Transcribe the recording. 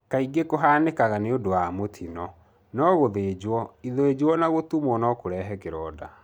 Kaingĩ kũhanĩkaga nĩundũ wa mũtino, no gũthinjo, Ithijũ na gũtumo no kũrehe kĩronda.